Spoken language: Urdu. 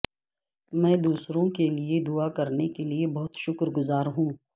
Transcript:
میں دوسروں کے لئے دعا کرنے کے لئے بہت شکر گزار ہوں